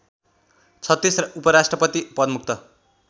३६ उपराष्ट्रपति पदमुक्त